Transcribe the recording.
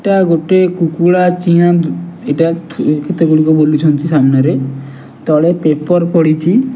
ଏଇଟା ଗୋଟେ କୁକୁଡା ଚିଆଁ ଏଟା କେତେଗୁଡିକ ବୁଲୁଛନ୍ତି ସାମ୍ନାରେ ତଳେ ପେପର ପଡ଼ିଛି।